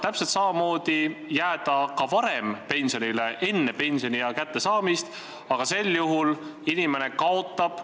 Täpselt samamoodi saab praegu ka varem, enne pensioniea kättejõudmist, pensionile jääda, aga sel juhul inimene kaotab.